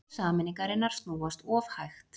Hjól sameiningarinnar snúast of hægt